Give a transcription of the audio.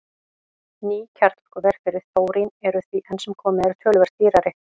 Ný kjarnorkuver fyrir þórín eru því enn sem komið er töluvert dýrari.